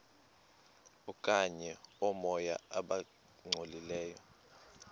okanye oomoya abangcolileyo